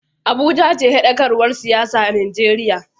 Abuja ce hedkwatar siyasar Najeriya.